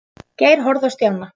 Geir horfði á Stjána.